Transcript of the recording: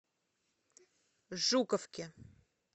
жуковки